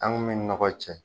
An kun bɛ nɔgɔ cɛ.